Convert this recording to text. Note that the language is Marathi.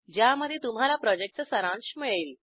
ज्यामध्ये तुम्हाला प्रॉजेक्टचा सारांश मिळेल